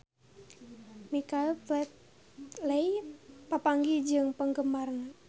Michael Flatley papanggih jeung penggemarna